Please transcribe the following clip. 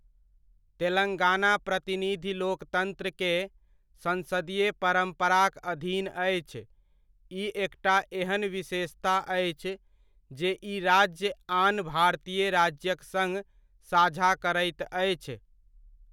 तेलंगाना प्रतिनिधि लोकतन्त्र के सन्सदीय परम्पराक अधीन अछि, ई एकटा एहन विशेषता अछि, जे ई राज्य आन भारतीय राज्यक सङ्ग साझा करैत अछि।